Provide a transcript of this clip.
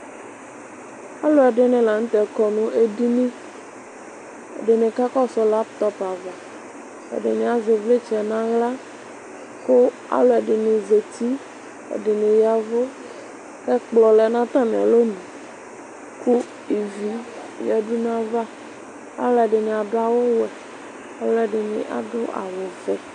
Alʋɛdini lanʋtɛ kɔ nʋ edini ɛdini kakɔsʋ laptɔp ava ɛdini azɛ ivlitsɛ nʋ aɣla kʋ alʋ ɛdini zati ɛdini ya ɛvʋ kʋ ɛjplɔ lɛnʋ atami alɔnʋ kʋ ivi yadʋ nʋ ayava alʋɛdini adʋ awʋwɛ alʋɛdini asʋ awʋvɛ